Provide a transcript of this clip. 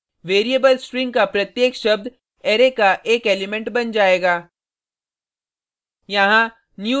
इस केस में variable string का प्रत्येक शब्द अरै का एक एलिमेंट बन जाएगा